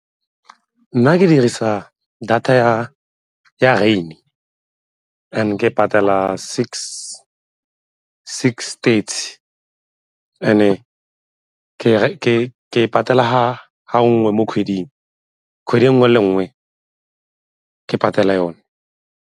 Nna ke dirisa data ya rain and ke patela six thirty, and-e ke patela ga nngwe mo kgweding, kgwedi e nngwe le e nngwe ka patela yone.